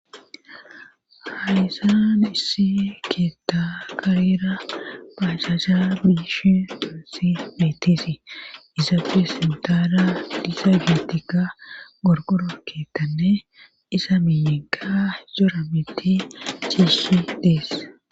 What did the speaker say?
haisaa nisi keta karera pasasa bish tosi metisi izafesintaara disagietika gorgoroketane izamineka soramiti cisi des